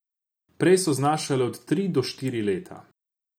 Prej so znašale od tri do štiri leta.